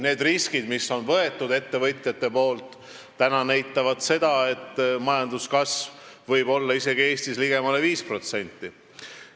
Need riskid, mida ettevõtjad on võtnud, täna näitavad seda, et majanduskasv võib olla isegi Eestis ligemale 5%.